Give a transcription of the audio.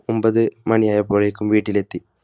ഒൻപത് മണി ആയപ്പോഴേക്കും വീട്ടിലെത്തി